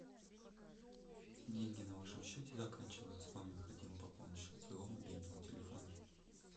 деньги на вашем счете заканчиваются вам необходимо пополнить счет своего мобильного телефона